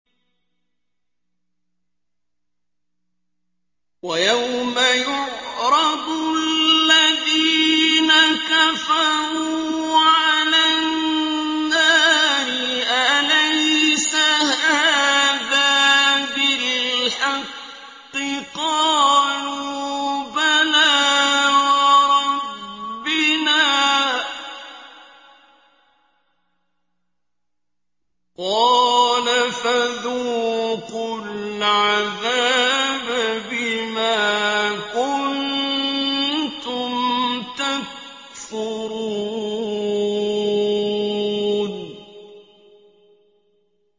وَيَوْمَ يُعْرَضُ الَّذِينَ كَفَرُوا عَلَى النَّارِ أَلَيْسَ هَٰذَا بِالْحَقِّ ۖ قَالُوا بَلَىٰ وَرَبِّنَا ۚ قَالَ فَذُوقُوا الْعَذَابَ بِمَا كُنتُمْ تَكْفُرُونَ